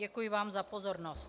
Děkuji vám za pozornost.